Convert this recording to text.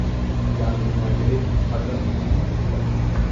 -ꯌꯥꯝꯅ ꯅꯨꯡꯉꯥꯏꯖꯔꯦ ꯃꯇꯝ ꯄꯤꯕꯤꯕꯒꯤꯗꯃꯛ꯫